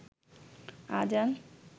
আজান